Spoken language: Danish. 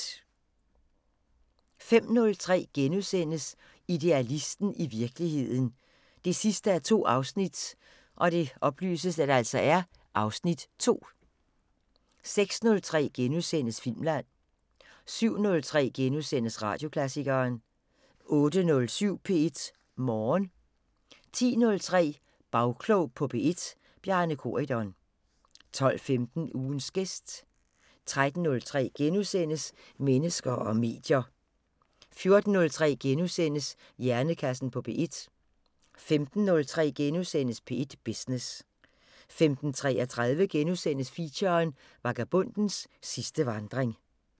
05:03: Idealisten – i virkeligheden 2:2 (Afs. 2)* 06:03: Filmland * 07:03: Radioklassikeren * 08:07: P1 Morgen 10:03: Bagklog på P1: Bjarne Corydon 12:15: Ugens gæst 13:03: Mennesker og medier * 14:03: Hjernekassen på P1 * 15:03: P1 Business * 15:33: Feature: Vagabondens sidste vandring *